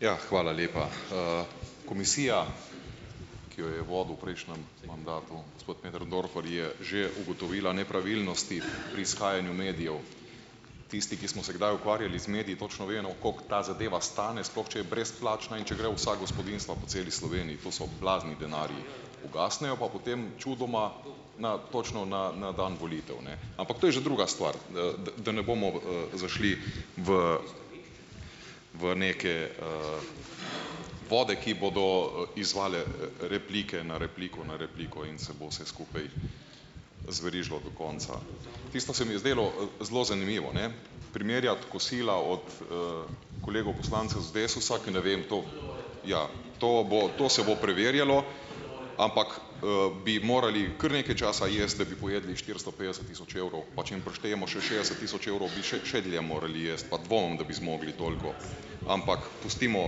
Ja, hvala lepa. Komisija, ki jo je vodil v prejšnjem mandatu gospod Möderndorfer, je že ugotovila nepravilnosti pri izhajanju medijev. Tisti, ki smo se kdaj ukvarjali z mediji, točno vemo, koliko ta zadeva stane, sploh če je brezplačna, in če gre v vsa gospodinjstva po celi Sloveniji. To so blazni denarji, ugasnejo, pa potem čudoma na točno na na dan volitev, ne, ampak to je že druga stvar, da ne bomo, zašli v v neke, vode, ki bodo, izzvale, replike na repliko na repliko in se bo vse skupaj zverižilo do konca. Tisto se mi je zdelo, zelo zanimivo, ne, primerjati kosila od, kolegov poslancev z Desusa, ki ne vem, to ja, to bo, to se bo preverjalo. Ampak, bi morali kar nekaj časa jesti, da bi pojedli štiristo petdeset tisoč evrov, pa če jim prištejemo še šest tisoč evrov, bi še še dlje morali jaz, pa dvomim, da bi zmogli toliko. Ampak pustimo,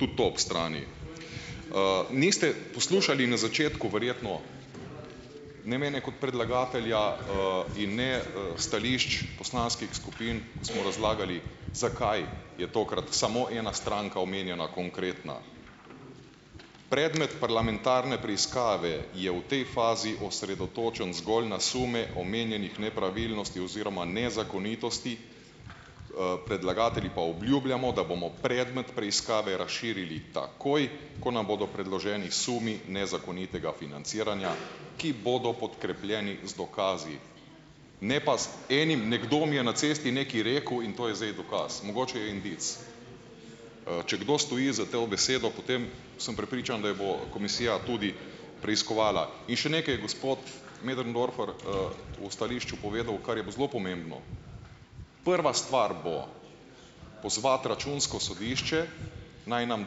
tudi to ob strani. Niste poslušali na začetku verjetno, ne mene kot predlagatelja, in ne, stališč poslanskih skupin, smo razlagali, zakaj je tokrat samo ena stranka omenjena, konkretna. Predmet parlamentarne preiskave je v tej fazi osredotočen zgolj na sume omenjenih nepravilnosti oziroma nezakonitosti, predlagatelji pa obljubljamo, da bomo predmet preiskave razširili takoj, ko nam bodo predloženi sumi nezakonitega financiranja, ki bodo podkrepljeni z dokazi, ne pa z enim, nekdo mi je na cesti nekaj rekel, in to je zdaj dokaz. Mogoče je indic. Če kdo stoji za te v besedo, potem sem prepričan, da jo bo komisija tudi preiskovala. In še nekaj je gospod Möderndorfer, o stališču povedal, kar je bo zelo pomembno. Prva stvar bo pozvati računsko sodišče, naj nam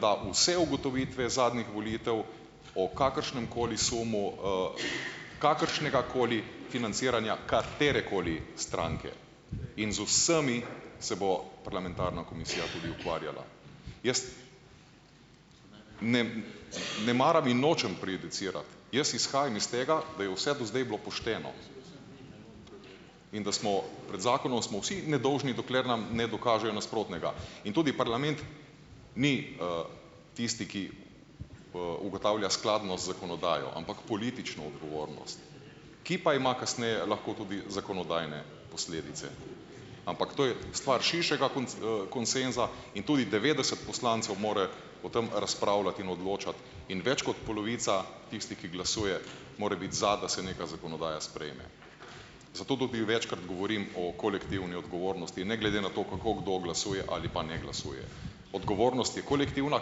da vse ugotovitve zadnjih volitev o kakršnemkoli sumu, kakršnegakoli financiranja katerekoli stranke in z vsemi se bo parlamentarna komisija tudi ukvarjala. Jaz ... Ne, ne maram in nočem prejudicirati, jaz izhajam iz tega, da je vse do zdaj bilo pošteno, in da smo pred zakonom smo vsi nedolžni, dokler nam ne dokažejo nasprotnega in tudi parlament ni, tisti, ki, ugotavlja skladno z zakonodajo, ampak politično odgovornost, ki pa ima kasneje lahko tudi zakonodajne posledice, ampak to je stvar širšega konsenza in tudi devetdeset poslancev mora o tem razpravljati in odločati in več kot polovica, tisti ki glasuje, more biti za, da se neka zakonodaja sprejme. Zato tudi večkrat govorim o kolektivni odgovornosti, ne glede na to, kako kdo glasuje ali pa ne glasuje. Odgovornost je kolektivna,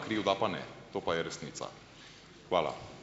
krivda pa ne. To pa je resnica. Hvala.